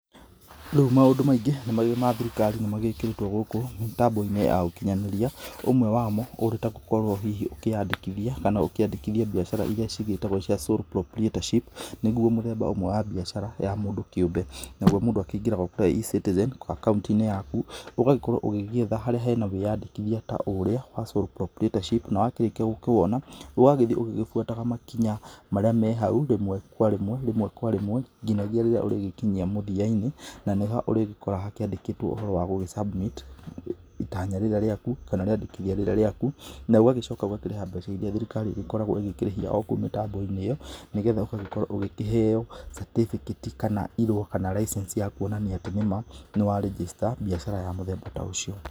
Rĩu maũndũ maingĩ ma thirikari nĩ magĩkĩrĩtwo gũkũ mĩtambo-inĩ ya ũkinyanĩria, ũmwe wamo ũrĩ ta gũkorwo hihi ũkĩyandĩkithia kana ũkĩandĩkithia biacara iria hihi cigĩtagwo cia sole proprietorship nĩguo mũthemba ũmwe wa biacara ya mũndũ kĩũmbe, naguo mũndũ akĩingĩraga o ta E-citizen o akaũnti-inĩ yaku ũgagĩkorwo ũgĩgĩetha harĩa hena wĩyandĩkithia ta ũrĩa wa sole proprietorship na wakĩrĩkia gũkĩwona ũgagĩthiĩ ũgĩbuataga makinya marĩa me hau rĩmwe kwa rĩmwe nginyagia rĩrĩa ũrĩgĩkinya mũthia-inĩ na nĩho ũrĩgĩkoraga hakĩandĩkĩtwo ũhoro wa gũgĩ-submit itanya rĩrĩa rĩaku kana rĩandĩkithia rĩrĩa rĩaku na ũgagĩcoka ũgakĩrĩha mbeca ĩrĩa thirikari ĩgĩkoragwo ĩgĩkĩrĩhia o kou mĩtambo-inĩ ĩyo nĩgetha ũgagĩkorwo ũgĩkĩheo certificate kana irũa kana licence ya kuonania atĩ nĩ ma, nĩwarĩnjĩcita biacara ya mũthemba ta ũcio.